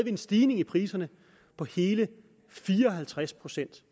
en stigning i priserne på hele fire og halvtreds procent